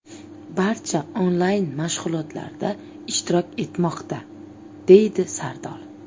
Barcha onlayn mashg‘ulotlarda ishtirok etmoqda”, deydi Sardor.